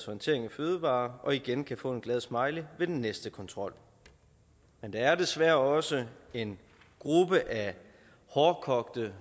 håndtering af fødevarer og igen kan få en glad smiley ved den næste kontrol men der er desværre også en gruppe af hårdkogte